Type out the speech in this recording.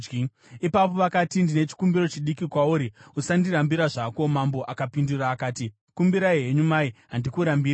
Ipapo vakati, “Ndine chikumbiro chidiki kwauri. Usandirambira zvako.” Mambo akapindura akati, “Kumbirai henyu, mai, handikurambiriyi.”